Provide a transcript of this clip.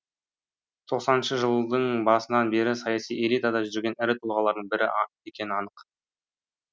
тоқсаныншы жыллдың басынан бері саяси элитада жүрген ірі тұлғалардың бірі екені анық